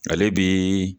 Ale bi